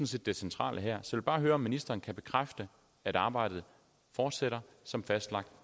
set det centrale her så jeg vil bare høre om ministeren kan bekræfte at arbejdet fortsætter som fastlagt